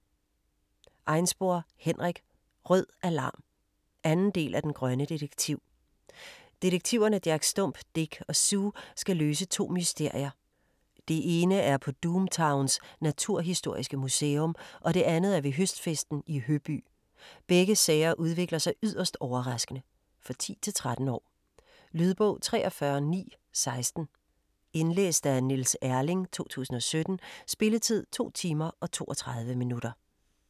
Einspor, Henrik: Rød alarm! 2 del af Den grønne detektiv. Detektiverne Jack Stump, Dick og Sue skal løse to mysterier. Det ene er på Doom Towns Naturhistoriske Museum, og det andet er ved høstfesten i Høby. Begge sager udvikler sig yderst overraskende. For 10-13 år. Lydbog 43916 Indlæst af Niels Erling, 2017. Spilletid: 2 timer, 32 minutter.